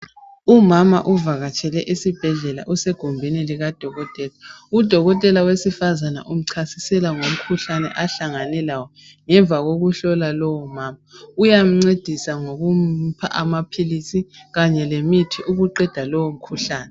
Umama uvakatshele esibhedlela usegumbini likadokotela. Udokotela wesifazana umchasisela ngomkhuhlane ahlangane lawo ngemva kokuhlola lowo mama, uyamncedisa ngokumupha amaphilisi kanye lemithi ukuqeda lowomkhuhlane